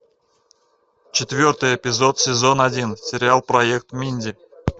четвертый эпизод сезон один сериал проект минди